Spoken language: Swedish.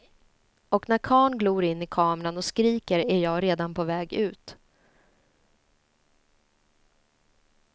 Och när karln glor in i kameran och skriker är jag redan på väg ut.